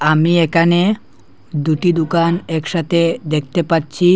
আমি একানে দুটি দুকান একসাথে দেখতে পাচ্ছি।